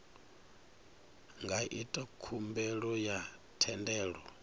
nga ita khumbelo ya thendelo